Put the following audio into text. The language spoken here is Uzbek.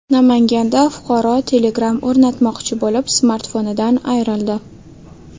Namanganda fuqaro Telegram o‘rnatmoqchi bo‘lib, smartfonidan ayrildi.